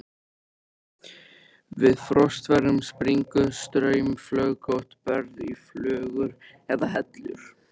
Við frostveðrun springur straumflögótt berg í flögur eða hellur.